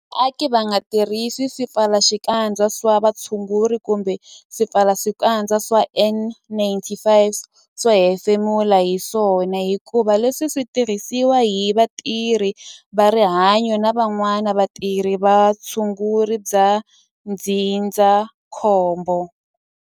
Vaaki va nga tirhisi swipfalaxikandza swa vutshunguri kumbe swipfalaxikandza swa N-95 swo hefemula hi swona hikuva leswi swi tirhisiwa hi vatirhi va rihanyo na van'wana vatirhi va vutshunguri bya ndzindzakhombo.